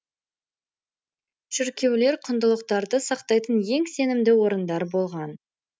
шіркеулер құндылықтарды сақтайтын ең сенімді орындар болған